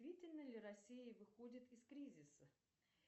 действительно ли россия выходит из кризиса